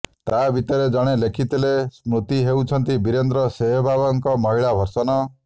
ତା ଭିତରେ ଜଣେ ଲେଖିଥିଲେ ସ୍ମୃତି ହେଉଛନ୍ତି ବୀରେନ୍ଦ୍ର ସେହବାଗଙ୍କ ମହିଳା ଭର୍ସନ